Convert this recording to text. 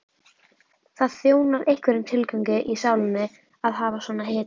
Það þjónar einhverjum tilgangi í sálinni að hafa svona hetjur.